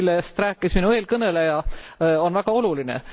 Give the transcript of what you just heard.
See, millest rääkis minu eelkõneleja, on väga oluline.